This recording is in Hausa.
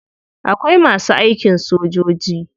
Akwai masu aikin sojoji.